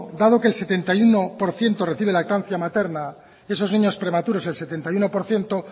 dado que el setenta y uno por ciento recibe lactancia materna de esos niños prematuros el setenta y uno por ciento